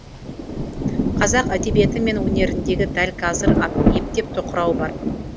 қазақ әдебиеті мен өнерінде дәл қазір ептеп тоқырау бар